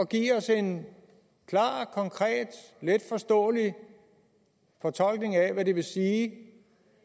give os en klar konkret letforståelig fortolkning af hvad det vil sige